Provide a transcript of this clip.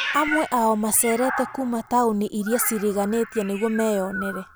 Amwe ao macereete kuuma taũnĩ iria cĩrĩganĩtie nĩgũo meyonere.